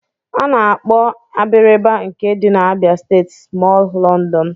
Ana-akpọ Abiriba nke dị n'Abịa steeti smọọl London